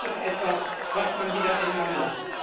das ist etwas, was man wieder ändern muss.